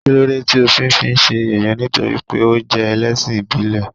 Kílódé tí o fi ń fi ṣe yẹ̀yẹ́ nítorí pé ó jẹ́ ẹlẹ́sìn ìbílẹ̀?.